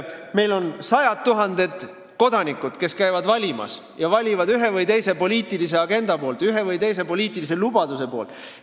Meil on sajad tuhanded kodanikud, kes käivad valimas ja valivad ühe või teise poliitilise agenda poolt, ühe või teise poliitilise lubaduse poolt.